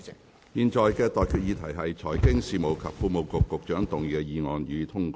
我現在向各位提出的待決議題是：財經事務及庫務局局長動議的議案，予以通過。